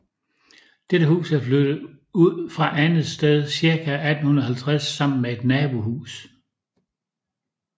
Dette hus er flyttet ud fra andet sted ca 1850 sammen med et nabohus